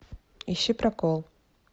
ищи прокол